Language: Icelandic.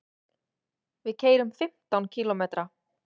Við keyrum fimmtán kílómetra.